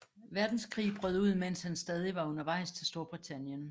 Verdenskrig brød ud mens han stadig var undervejs til Storbritannien